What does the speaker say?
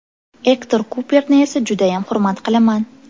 Ektor Kuperni esa judayam hurmat qilaman.